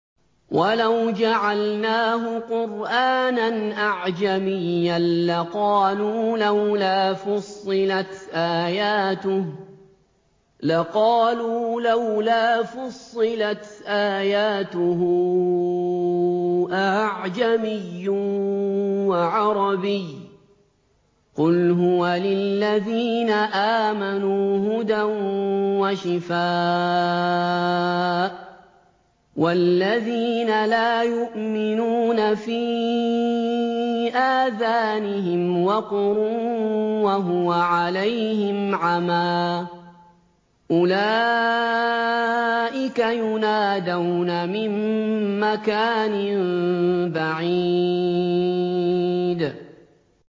وَلَوْ جَعَلْنَاهُ قُرْآنًا أَعْجَمِيًّا لَّقَالُوا لَوْلَا فُصِّلَتْ آيَاتُهُ ۖ أَأَعْجَمِيٌّ وَعَرَبِيٌّ ۗ قُلْ هُوَ لِلَّذِينَ آمَنُوا هُدًى وَشِفَاءٌ ۖ وَالَّذِينَ لَا يُؤْمِنُونَ فِي آذَانِهِمْ وَقْرٌ وَهُوَ عَلَيْهِمْ عَمًى ۚ أُولَٰئِكَ يُنَادَوْنَ مِن مَّكَانٍ بَعِيدٍ